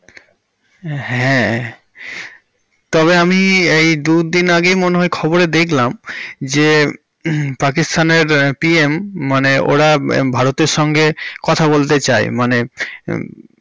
হ্যাঁ তবে আমি এই দুদিন আগেই মনে হয় খবরে দেখলাম যে পাকিস্তান এর PM মানে ওরা ভারতের সঙ্গে কথা বলতে চাই. মানে।